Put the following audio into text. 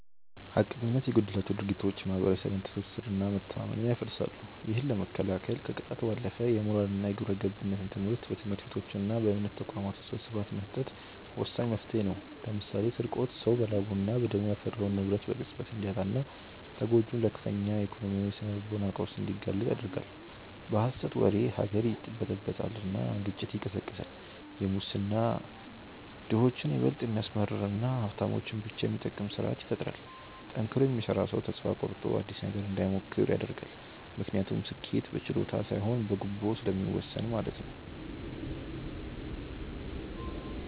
ሐቀኝነት የጎደላቸው ድርጊቶች የማኅበረሰብን ትስስርና መተማመን ያፈርሳሉ። ይህንን ለመከላከል ከቅጣት ባለፈ የሞራልና የግብረገብነት ትምህርትን በትምህርት ቤቶችና በእምነት ተቋማት ውስጥ በስፋት መስጠት ወሳኝ መፍትሔ ነው። ለምሳሌ ስርቆት ሰው በላቡና በደሙ ያፈራውን ንብረት በቅጽበት እንዲያጣና ተጎጂውን ለከፍተኛ የኢኮኖሚና የስነ-ልቦና ቀውስ እንዲጋለጥ ይዳርጋል። በሐሰት ወሬ ሀገር ይበጠበጣል ግጭት ይቀሰቀሳል። ሙስና ድሆችን ይበልጥ የሚያስመርርና ሀብታሞችን ብቻ የሚጠቅም ስርአት ይፈጥራል። ጠንክሮ የሚሰራ ሰው ተስፋ ቆርጦ አዲስ ነገር እንዳይሞክር ያደርጋል፤ ምክንያቱም ስኬት በችሎታ ሳይሆን በጉቦ ስለሚወሰን ማለት ነው።